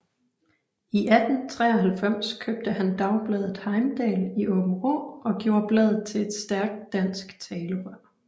I 1893 købte han dagbladet Heimdal i Aabenraa og gjorde bladet til et stærkt dansk talerør